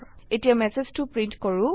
এতিয়া ম্যাসেজটো প্ৰিন্ট কৰো